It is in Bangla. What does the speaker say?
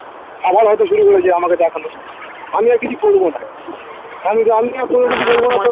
আবার হয়তো শুরু করেছে আমাকে দেখানো আমি আর কিছু করবো না